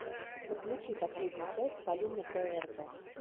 подключи последнюю часть полины бээрзэ